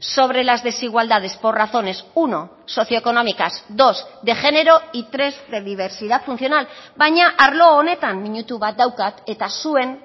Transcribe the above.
sobre las desigualdades por razones uno socioeconómicas dos de género y tres de diversidad funcional baina arlo honetan minutu bat daukat eta zuen